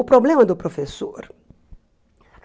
O problema é do professor.